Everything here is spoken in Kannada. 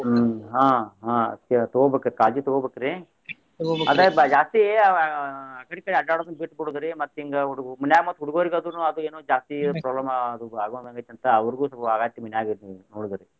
ಹ್ಮ್ ಅಹ್ ಆಹ್ ತಗೋಬೇಕ್ ಕಾಳಜಿ ತಗೋಬೇಕ್ರಿ ಅದ ಜಾಸ್ತಿ ಅಹ್ ಅಕಡೆ ಈಕಡೆ ಅಡ್ಯಾಡೊದನ್ನ ಬಿಟ್ ಬಿಡೋದ್ರಿ ಮತ್ತ್ ಹಿಂಗ ಅವ್ರ ಮನ್ಯಾಗ ಮತ್ತ್ ಹುಡುಗೋರಿಗನು ಅದ ಏನೋ ಜಾಸ್ತಿ problem ಆಗೊ~ ಆಗೋಹಂಗ್ ಐತಿ ಅಂತ ಅವ್ರಿಗು ಅಟ ವಾಗಾತಿ ಮನ್ಯಾಗ ಹೇಳುದರಿ.